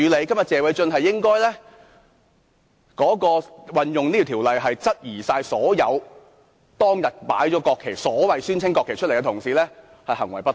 今天謝偉俊議員引用這項條文是質疑所有當日擺放國旗——宣稱是國旗——的同事行為不當。